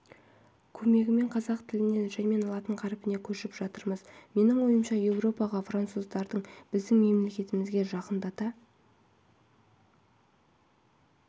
көмегімен қазақ тілінен жәймен латын қарпіне көшіп жатырмыз менің ойымша еуропаға француздарды біздің мәдениетімізге жақындата